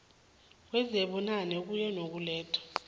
kwezibunane kuye ngokulethwa